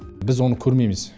біз оны көрмейміз